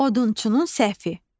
Odunçunun səhvi.